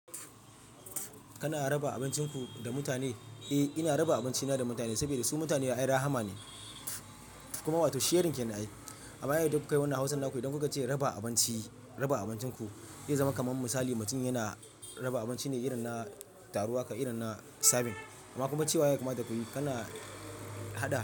Kana raba abincinku da mutane? Eh, ina raba abincina da mutane saboda su mutane da ayi rahama ne kuma ba sherin kenan ai. Amma idan kukayi wannan hausannaku idan kuka ce raba abinci, raba abincinku. Ya zama kaman misali mutum yana raba abinci ne irin na taro aka irin na serving. Amma kuma cewa ya kamata kuyi kana hada.